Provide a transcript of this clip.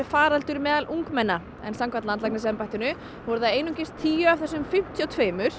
faraldur meðal ungmenna en samkvæmt landlæknisembættinu eru einungis tíu af þessum fimmtíu og